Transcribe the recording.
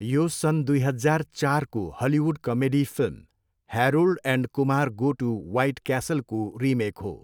यो सन् दुई हजार चारको Hollywood comedy film Harold and Kumar go to White क्यासलको रिमेक हो।